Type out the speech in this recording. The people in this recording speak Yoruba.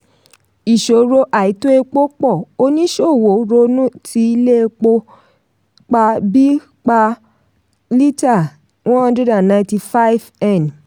ìṣòro àìtó epo pọ̀; oníṣòwò ronú ti ilé epo pa bí pa bí lítà one hundred and ninety five m